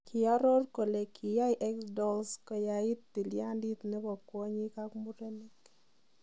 Kiaror kole kiyaiy Xdolls koyait tilyandit nebo kownyik ak murenik ak mureenik.